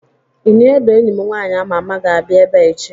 ini edo enyim nwanyi ama ama m ga-abia ebea echi